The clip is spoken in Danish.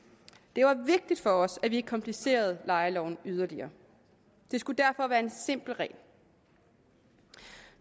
det var vigtigt for os at vi ikke komplicerede lejeloven yderligere det skulle derfor være en simpel regel